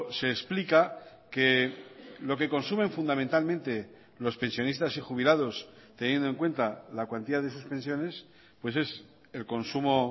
se explica que lo que consumen fundamentalmente los pensionistas y jubilados teniendo en cuenta la cuantía de sus pensiones pues es el consumo